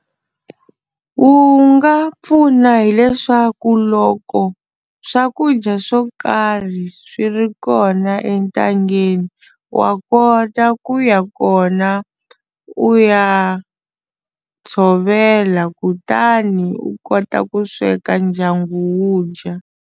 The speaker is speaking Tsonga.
Wu nga pfuna hileswaku loko swakudya swo karhi swi ri kona entangeni wa kota ku ya kona u ya tshovela kutani u kota ku sweka ndyangu wu dya.